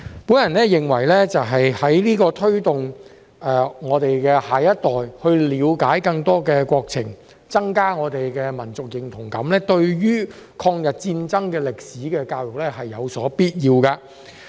我認為，為推動我們的下一代了解更多國情、增加我們的民族認同感，抗日戰爭歷史的教育是有必要的。